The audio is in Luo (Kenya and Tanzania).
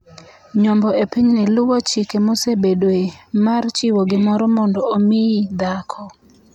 Nyombo e pinyni luwo chik mosebedoe - mar chiwo gimoro mondo omiyi dhako.